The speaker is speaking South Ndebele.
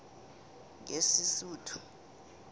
ngesisuthu